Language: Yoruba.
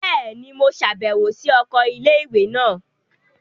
Bẹẹni, Mo ṣabẹwo si oko ilé-ìwé náà